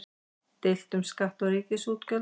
Deilt um skatta og ríkisútgjöld